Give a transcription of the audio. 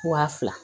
Wa fila